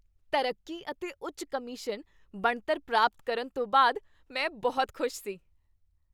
ਤਰੱਕੀ ਅਤੇ ਉੱਚ ਕਮਿਸ਼ਨ ਬਣਤਰ ਪ੍ਰਾਪਤ ਕਰਨ ਤੋਂ ਬਾਅਦ, ਮੈਂ ਬਹੁਤ ਖੁਸ਼ ਸੀ।